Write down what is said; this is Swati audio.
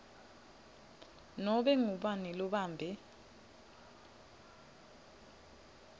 nobe ngubani lobambe